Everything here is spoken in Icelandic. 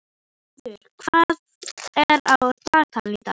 Snæfríð, hvað er á dagatalinu í dag?